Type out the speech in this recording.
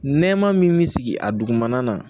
Nɛma min bi sigi a dugumana na